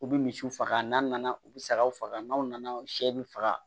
U bɛ misiw faga n'a nana u bɛ sagaw faga n'aw nana sɛ bɛ faga